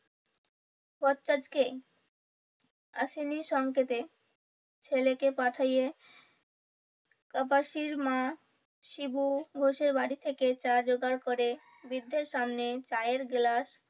আসেনি সংকেতে ছেলেকে পাঠিয়ে কাপাসির মা শিবু ঘোষের বাড়ি থেকে চা যোগাড় করে বৃদ্ধের সামনে চায়ের গ্লাস